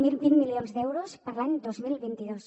de vint milions d’euros per a l’any dos mil vint dos